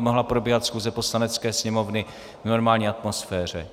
mohla probíhat schůze Poslanecké sněmovny v normální atmosféře.